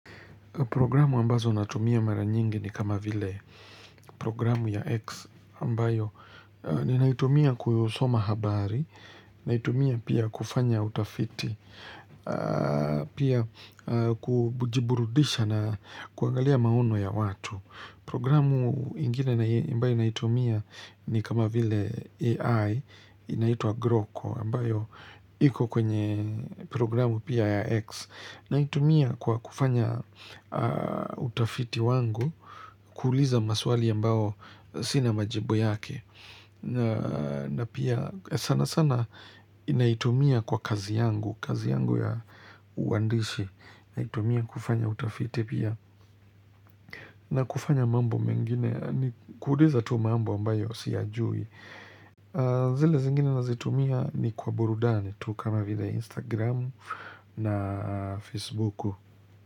Programu ambazo natumia mara nyingi ni kama vile programu ya X ambayo ni naitumia kusoma habari, naitumia pia kufanya utafiti, pia kujiburudisha na kuangalia maono ya watu. Programu ingine ambayo inaitumia ni kama vile AI, inaitwa Groco, ambayo iko kwenye programu pia ya X. Naitumia kwa kufanya utafiti wangu, kuuliza maswali ambayo sinia majibu yake. Na pia sana sana naitumia kwa kazi yangu, kazi yangu ya uandishi, inaitumia kufanya utafiti pia. Na kufanya mambo mengine ni kuuliza tu mambo ambayo siyajui zile zingine nazitumia ni kwa burudani tu kama vile Instagram na Facebook.